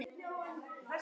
Það mátti hann ekki.